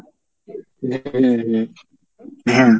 হ্যাঁ